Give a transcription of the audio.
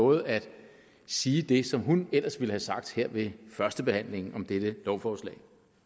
lovet at sige det som hun ellers ville have sagt her ved førstebehandlingen af dette lovforslag